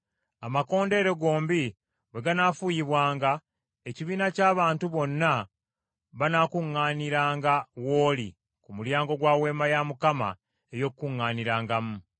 Amakondeere gombi bwe ganaafuuyibwanga, ekibiina ky’abantu bonna banaakuŋŋaaniranga w’oli ku mulyango gwa Weema ey’Okukuŋŋaanirangamu.